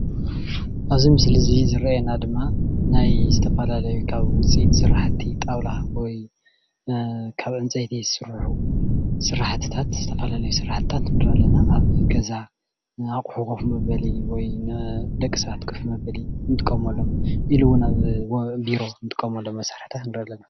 ኣብዚ መስሊ እዙይ ዝረኣየና ድማ ናይ ዝተፈላለየ ካብ ውፅኢት ስራሕቲ ጣውላ ወይ ካብ ዕንፀይቲ ዝስርሑ ስራሕታት ዝተፈላለዩ ስራሕትታት ንርኢ ኣለና። ኣብ ገዛ ኣቁሑ ኮፍ መበሊ ወይ ደቂ ሰባት ኮፍ መበሊ እንጥቀመሉ ኢሉ እወን ኣብ ቢሮ እንጥቀመሎም መሳርሕታት ንርኢ ኣለና።